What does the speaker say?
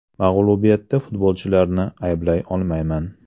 Mag‘lubiyatda futbolchilarni ayblay olmayman.